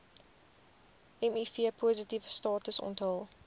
mivpositiewe status onthul